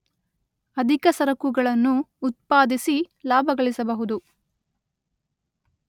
ಅಧಿಕ ಸರಕುಗಳನ್ನು ಉತ್ಪಾದಿಸಿ ಲಾಭಗಳಿಸಬಹುದು.